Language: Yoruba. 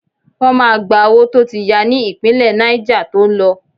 Wọ́n máa gba owó tó ti ya ní ìpínlẹ̀ Náíjà to ń lọ